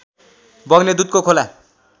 बग्ने दुधको खोला